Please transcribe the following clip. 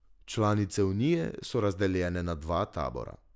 Članice unije so razdeljene na dva tabora.